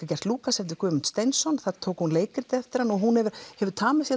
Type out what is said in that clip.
gert Lúkas eftir Guðmund Sveinsson þar tók hún leikrit eftir hann og hún hefur tamið sér